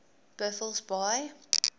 buffelsbaai